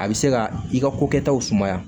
A bɛ se ka i ka kokɛtaw sumaya